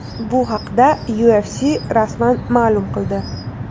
Bu haqda UFC rasman ma’lum qildi.